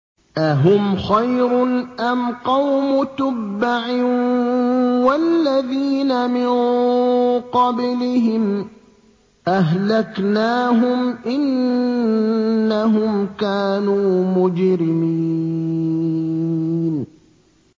أَهُمْ خَيْرٌ أَمْ قَوْمُ تُبَّعٍ وَالَّذِينَ مِن قَبْلِهِمْ ۚ أَهْلَكْنَاهُمْ ۖ إِنَّهُمْ كَانُوا مُجْرِمِينَ